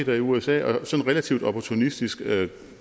i usa og relativt opportunistisk